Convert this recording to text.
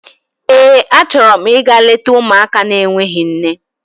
Eé, achọrọ m ịga leta ụmụaka n'enweghị nne.